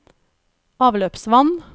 avløpsvann